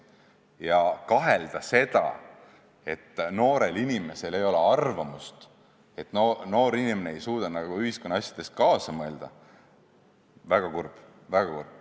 Ja kahelda seda, et noorel inimesel ei ole oma arvamust, et noor inimene ei suuda ühiskonna asjades kaasa mõelda – väga kurb, väga kurb.